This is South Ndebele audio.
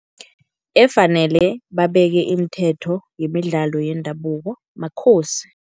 Efanele babeke imithetho yemidlalo yendabuko maKhosi.